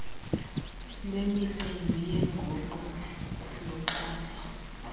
lwemicimbi yenguqu luxhasa